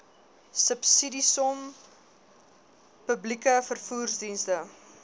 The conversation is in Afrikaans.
subsidiesom publieke vervoerdienste